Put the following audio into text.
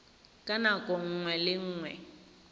ka nako nngwe le nngwe